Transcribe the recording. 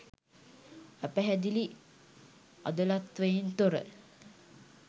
අපැහැදිලි අදලත්වයෙන් තොර